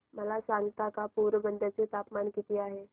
मला सांगता का पोरबंदर चे तापमान किती आहे